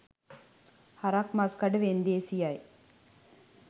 හරක් මස් කඩ වෙන්දේසියයි.